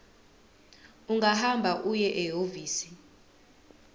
ungahamba uye ehhovisi